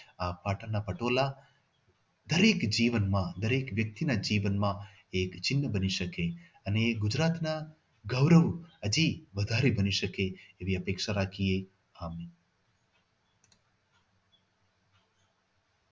આ પાટણના પટોળા દરેક જીવનમાં દરેક વ્યક્તિના જીવનમાં એક ચિહ્ન બની શકે અને ગુજરાતના ગૌરવ હજી વધારે બની શકે એવી અપેક્ષા રાખીએ. આભાર.